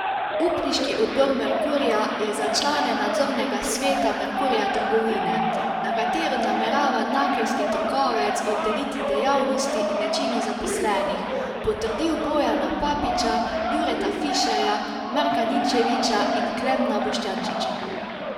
Upniški odbor Merkurja je za člane nadzornega sveta Merkurja Trgovine, na katero namerava nakelski trgovec oddeliti dejavnosti in večino zaposlenih, potrdil Bojana Papiča, Jureta Fišerja, Marka Ninčeviča in Klemna Boštjančiča.